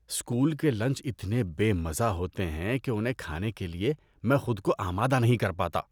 School کے lunch اتنے بے مزہ ہوتے ہیں کہ انہیں کھانے کے لیے میں خود کو آمادہ نہیں کر پاتا۔